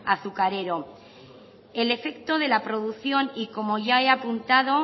azucarero el efecto de la producción y como ya he apuntado